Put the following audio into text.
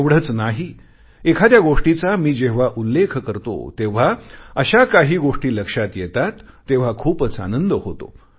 एवढेच नाही एखाद्या गोष्टीचा मी जेव्हा उल्लेख करतो तेव्हा अशा काही गोष्टी लक्षात येतात तेव्हा खूपच आनंद होतो